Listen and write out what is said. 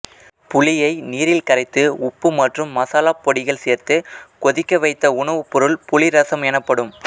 புளியை நீரில் கரைத்து உப்பு மற்றும் மசாலாப் பொடிகள் சேர்த்து கொதிக்க வைத்த உணவுப்பொருள் புளி ரசம் எனப்படும்